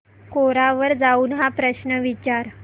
कोरा वर जाऊन हा प्रश्न विचार